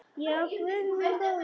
Já, guð minn góður.